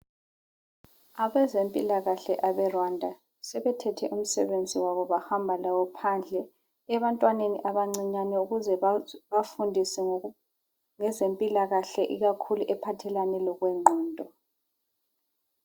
Abezempilakahle abeRwanda sebethethe umsebenzi wabo bahamba lawo phandle ebantwaneni abancinyane ukuze babafundise ngezempilakahle ikakhulu ephathelene lokwengqondo.